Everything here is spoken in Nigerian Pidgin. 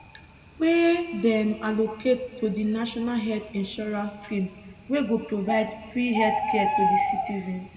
wey dem allocate to di national health insurance scheme wey go provide free healthcare to di citizens